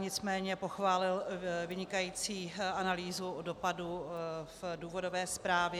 Nicméně pochválil vynikající analýzu dopadu v důvodové zprávě.